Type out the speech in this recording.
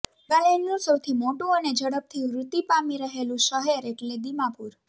નાગાલૅન્ડનું સૌથી મોટું અને ઝડપથી વૃદ્ધિ પામી રહેલું શહેર એટલે દીમાપુર